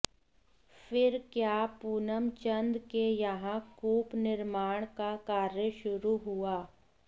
फिर क्या पूनमचंद के यहां कूप निर्माण का कार्य शुरु हुआ